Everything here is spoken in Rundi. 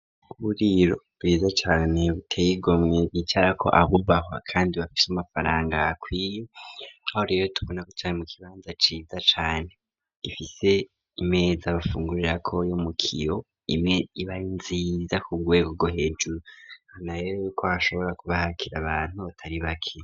Kuburiro bwiza cane buteye igomwe hicarako abubahwa kandi bafise amafaranga akwiye, aho rero tubona kwicara mu kibanza ciza cane gifise imeza bafungurrako yo mukiyo iba ari nziza kurwego rwo hejuru hanaye ko hashobora kubahakira abantu batari bake.